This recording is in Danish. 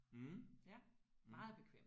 Mh mh